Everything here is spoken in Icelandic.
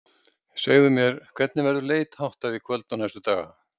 Segðu mér, hvernig verður leit háttað í kvöld og næstu daga?